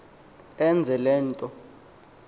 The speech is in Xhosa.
enze le nto